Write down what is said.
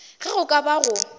ge go ka ba go